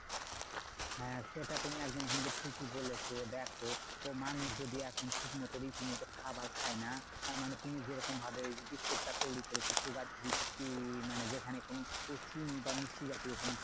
হ্যাঁ সেটা তুমি একদম কিন্তু ঠিকই বলেছো। দেখো তোমার মধ্য দিয়ে এখন ঠিকমতো রীতিমতো খাবার খায় না তার মানে তুমি যে রকম ভাবে biscuit টা তৈরী করেছো sugar free কি মানে? যেখানে কোনো প্রোটিন বা মিষ্টি জাতীয় কোনো